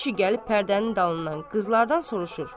İki kişi gəlib pərdənin dalından qızlardan soruşur.